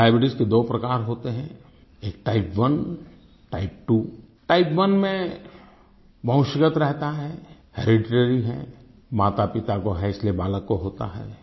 और डायबीट्स के दो प्रकार होते हैं एक Type1 Type2 टाइप 1 में वंशगत रहता है हेरेडिटरी है मातापिता को है इसलिए बालक को होता है